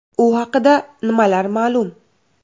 U haqida nimalar ma’lum?